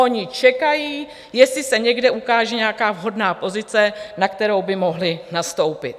Oni čekají, jestli se někde ukáže nějaká vhodná pozice, na kterou by mohli nastoupit.